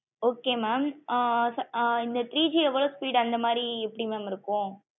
okay mam ah இந்த three G எவளோ speed அந்த மாதிரி எப்டி mam இருக்கும்